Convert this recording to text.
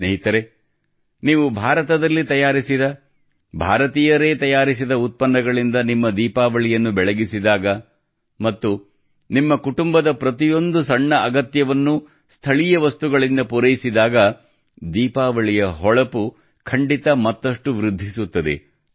ಸ್ನೇಹಿತರೇ ನೀವು ಭಾರತದಲ್ಲಿ ತಯಾರಿಸಿದ ಭಾರತೀಯರೇ ತಯಾರಿಸಿದ ಉತ್ಪನ್ನಗಳಿಂದ ನಿಮ್ಮ ದೀಪಾವಳಿಯನ್ನು ಬೆಳಗಿಸಿದಾಗ ಮತ್ತು ನಿಮ್ಮ ಕುಟುಂಬದ ಪ್ರತಿಯೊಂದು ಸಣ್ಣ ಅಗತ್ಯವನ್ನು ಸ್ಥಳೀಯ ವಸ್ತುಗಳಿಂದ ಪೂರೈಸಿದಾಗ ದೀಪಾವಳಿಯ ಹೊಳಪು ಖಂಡಿತ ಮತ್ತಷ್ಟು ವೃದ್ಧಿಸುತ್ತದೆ